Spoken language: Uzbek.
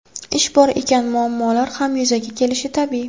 Ish bor ekan, muammolar ham yuzaga kelishi tabiiy.